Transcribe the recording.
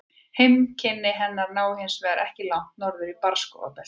Heimkynni hennar ná hins vegar ekki langt norður í barrskógabeltið.